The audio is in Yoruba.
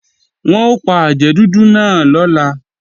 Wọn ò pa àjẹ́ dúdú náà lọ́la